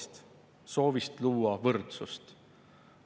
Aga nõnda oli koalitsioonil tõenäolisem hääled kokku saada.